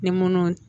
Ni munnu